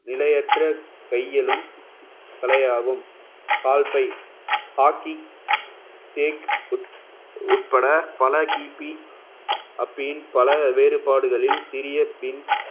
நிலையற்ற கையெழும் தலையாகும் கால் பை காக்கி தேக் உட்~ உட்பட பல கிபி appeal பல வேறுபாடுகளில் சிறிய